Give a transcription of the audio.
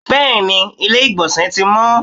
bẹẹni, ilé igbónse tí mọ